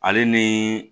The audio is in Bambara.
Ale ni